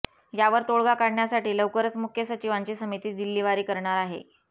यावर तोडगा काढण्यासाठी लवकरच मुख्य सचिवांची समिती दिल्लीवारी करणार आहे